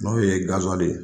N'o ye gasiwali de ye.